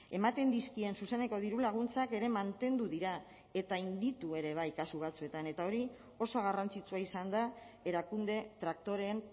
ematen dizkien zuzeneko dirulaguntzak ere mantendu dira eta handitu ere bai kasu batzuetan eta hori oso garrantzitsua izan da erakunde traktoreen